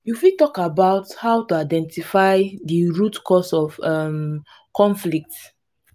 you fit talk about how to identify di root cause of um conflict.